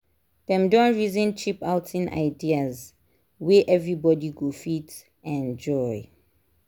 dem don reason cheap outing ideas wey everybody go fit enjoy.